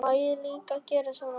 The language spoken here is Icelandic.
Má líka gera það svona